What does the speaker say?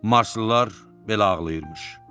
Marslılar belə ağlayırmış.